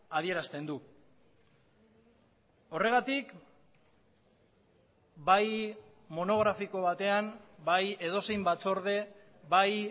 adierazten du horregatik bai monografiko batean bai edozein batzorde bai